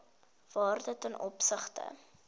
waarde ten opsigte